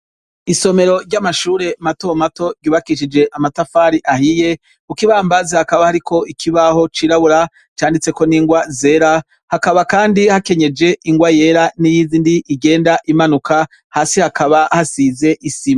Isomero ry'Amashure matomato ryubakishije amatafari ahiye, kuk'ibambazi hakaba hariko Ikibaho cirabura canditseko n'ingwa zera, hakaba kandi hakenyeje ingwa yera n'iyindi igenda imanuka hasi hakaba hasize isima.